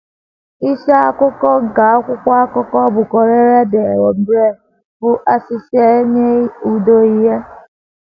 Isi akụkọ nke akwụkwọ akụkọ bụ́ Corriere dell’Umbria bụ “ Assisi Enye Udo Ìhè. ”